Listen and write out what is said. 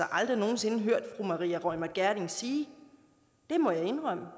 aldrig nogen sinde hørt fru maria reumert gjerding sige det må jeg indrømme